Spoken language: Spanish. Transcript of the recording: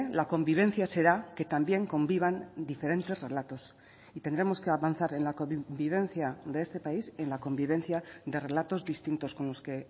la convivencia será que también convivan diferentes relatos y tendremos que avanzar en la convivencia de este país en la convivencia de relatos distintos con los que